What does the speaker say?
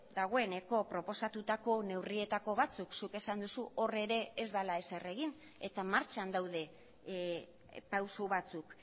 dagoeneko proposatutako neurrietako batzuk zuk esan duzu hor ere ez dela ezer egin eta martxan daude pauso batzuk